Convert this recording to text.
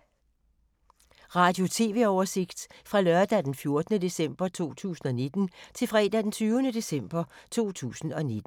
Radio/TV oversigt fra lørdag d. 14. december 2019 til fredag d. 20. december 2019